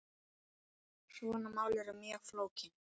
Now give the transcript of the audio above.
Svona mál eru mjög flókin.